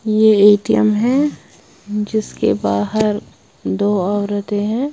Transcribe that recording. ये ए_टी_एम है जिसके बाहर दो औरतें हैं।